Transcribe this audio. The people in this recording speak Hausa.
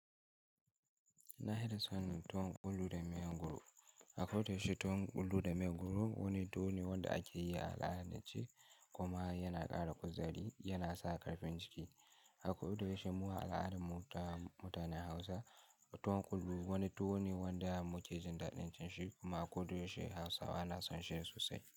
Nafi da son tuwon ƙullu da miyan goro. A kodayaushe tuwon ƙullu da miyan goro wani tuwo ne wanda akeyi a al'adance kuma yana ƙara kuzari, yana saka ƙarfin jiki. A kodayaushe mu a al'adar mu ta mutanen Hausa, tuwon ƙullu wani tuwo ne wanda muke jin daɗin cin shi kuma a kodayaushe Hausawa na son shi sosai.